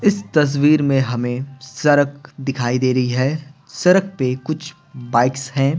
इस तस्वीर में हमें सरक दिखाई दे रही है सरक पे कुछ बाइक्स हैं।